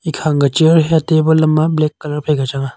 chair hiya table amma black colour phai ka changa.